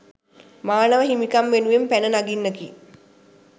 මානව හිමිකම් වෙනුවෙන් පැන නගින්නකි